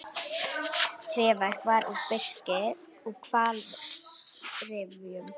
Tréverk var úr birki og hvalsrifjum.